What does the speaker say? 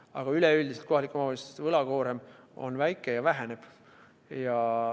Aga üleüldiselt kohalike omavalitsuste võlakoorem on väike ja väheneb.